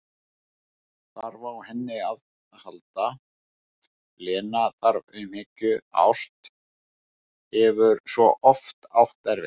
Þarf á henni að halda, Lena, þarf umhyggju, ást, hefur svo oft átt erfitt.